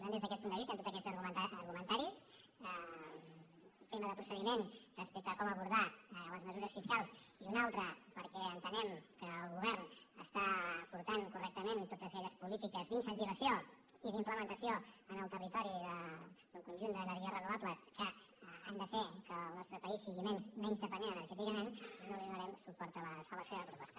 per tant des d’aquest punt de vista amb tots aquests argumentaris tema de procediment respecte a com abordar les mesures fiscals i un altre perquè entenem que el govern aporta correctament totes aquelles polí·tiques d’incentivació i d’implementació en el territori d’un conjunt d’energies renovables que han de fer que el nostre país sigui menys dependent energèticament no donarem suport a la seva proposta